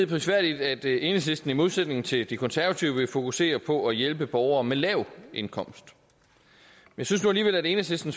prisværdigt at enhedslisten i modsætning til de konservative vil fokusere på at hjælpe borgere med lav indkomst jeg synes nu alligevel at enhedslisten